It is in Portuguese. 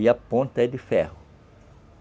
E a ponta é de ferro.